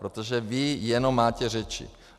Protože vy jenom máte řeči.